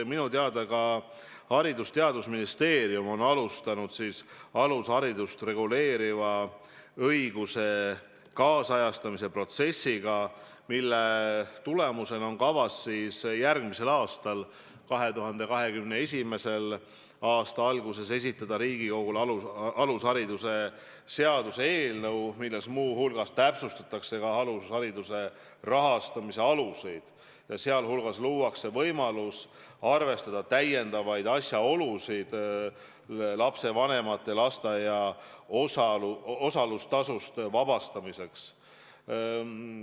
Minu teada on Haridus- ja Teadusministeerium alustanud alusharidust reguleeriva õiguse kaasajastamise protsessi, mille tulemusel on kavas järgmisel aastal, 2021. aasta alguses esitada Riigikogule alushariduse seaduse eelnõu, milles muu hulgas täpsustatakse ka alushariduse rahastamise aluseid ja luuakse võimalus arvestada täiendavaid asjaolusid lapsevanemate lasteaia kohatasust vabastamiseks.